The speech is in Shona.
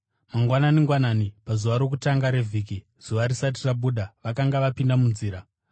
Mangwanani-ngwanani pazuva rokutanga revhiki, zuva risati rabuda, vakanga vapinda munzira,